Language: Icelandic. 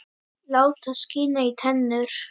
Láta skína í tennur.